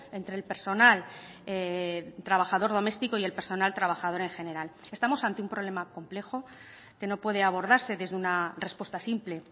entre el personal trabajador doméstico y el personal trabajador en general estamos ante un problema complejo que no puede abordarse desde una respuesta simple